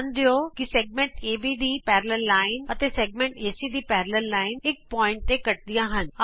ਧਿਆਨ ਦਿਉ ਕਿ ਵ੍ਰਤ ਖੰਡ ਏਬੀ ਦੀ ਸਮਾਂਤਰ ਰੇਖਾ ਅਤੇ ਵ੍ਰਤ ਖੰਡ ਏਸੀ ਦੀ ਸਮਾਂਤਰ ਰੇਖਾ ਇਕ ਬਿੰਦੂ ਤੇ ਕੱਟਦੀਆਂ ਹਨ